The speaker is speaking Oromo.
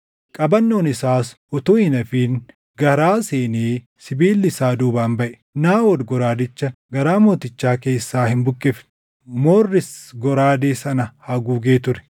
Qabannoon isaas utuu hin hafin garaa seenee sibiilli isaa duubaan baʼe. Naaʼod goraadicha garaa mootichaa keessaa hin buqqifne; moorris goraadee sana haguugee ture.